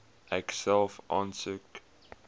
ek self aansoek